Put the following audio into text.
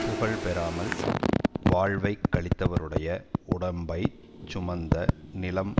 புகழ் பெறாமல் வாழ்வைக் கழித்தவருடைய உடம்பை சுமந்த நிலம்